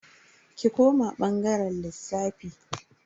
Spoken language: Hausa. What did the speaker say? Ki koma bangaren lissafi.